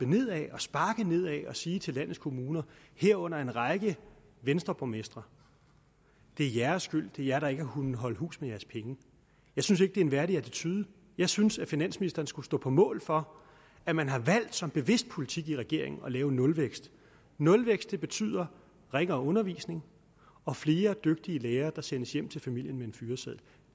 nedad sparker nedad og siger til landets kommuner herunder en række venstreborgmestre det er jeres skyld det er jer der ikke har kunnet holde hus med jeres penge jeg synes ikke det er en værdig attitude jeg synes at finansministeren skulle stå på mål for at man har valgt som bevidst politik i regeringen at lave en nulvækst nulvækst betyder ringere undervisning og flere dygtige lærere der sendes hjem til familien med en fyreseddel